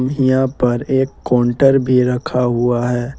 ईहां पर एक कोंटर भी रखा हुआ है।